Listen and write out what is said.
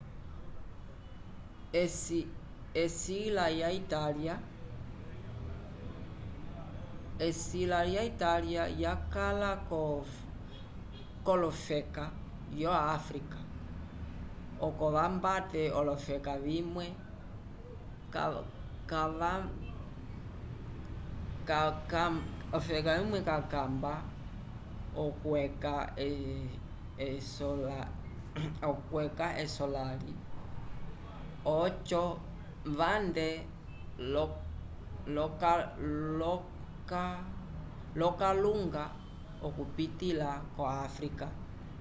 esila ya italia yakala kolofeka yo africa oco vambate olofeka vimwe cakamba okweca esolali oco vande lo kalunga okupitila ko afrika